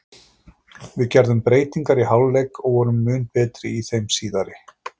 Við gerðum breytingar í hálfleik og vorum mun betri í þeim síðari.